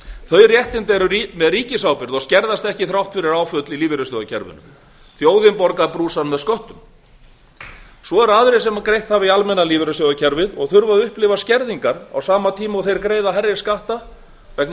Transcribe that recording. þau réttindi eru með ríkisábyrgð og skerðast ekkert þrátt fyrir áföll í lífeyrissjóðakerfinu þjóðin borgar þann brúsann með skattgreiðslum sínum svo eru aðrir sem greitt hafa í almenna lífeyrissjóðakerfið og þurfa að upplifa skerðingar á sama tíma og þeir greiða hærri skatta vegna